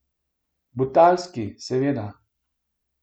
Butalski, seveda.